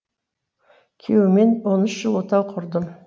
күйеуіммен он үш жыл отау құрдым